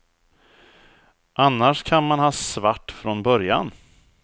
Annars kan man ha svart från början.